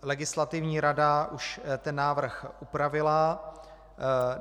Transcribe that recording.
Legislativní rada už ten návrh upravila.